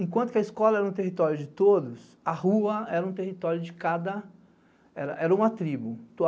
Enquanto a escola era um território de todos, a rua era um território de cada... Era uma tribo.